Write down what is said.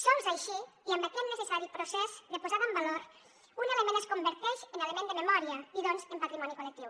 sols així i amb aquest necessari procés de posada en valor un element es converteix en element de memòria i doncs en patrimoni col·lectiu